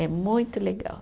É muito legal.